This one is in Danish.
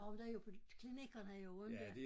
Jo der er jo på klinikkerne i Rønne dér